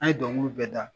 An ye dɔnkiliw bɛɛ da